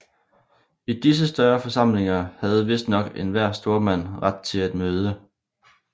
I disse større forsamlinger havde vistnok enhver stormand ret til at møde